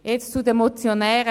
Jetzt zu den Motionären.